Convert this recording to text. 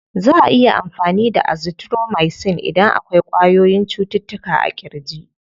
Za'a iya amfani da azithromicin idan akwai ƙwayoyyin cututtuka a ƙirji.